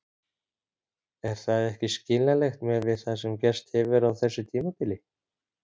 Er það ekki skiljanlegt miðað við það sem gerst hefur á þessu tímabili?